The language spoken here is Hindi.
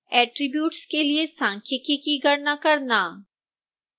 attributes के लिए सांख्यिकी की गणना करना